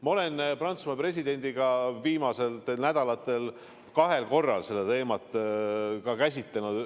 Ma olen Prantsusmaa presidendiga viimaste nädalate jooksul kahel korral seda teemat käsitlenud.